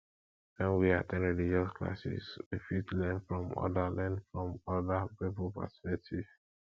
when we at ten d religious classes we fit learn from oda learn from oda pipo perspective